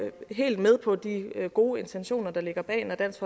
helt med på de gode intentioner der ligger bag når dansk